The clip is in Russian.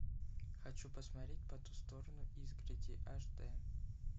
хочу посмотреть по ту сторону изгороди аш дэ